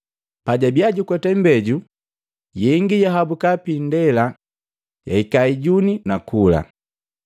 Pajabiya jukweta imbeju, yengi yahabuka piindela jahika ijuni nakula.